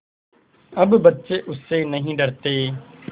अब बच्चे उससे नहीं डरते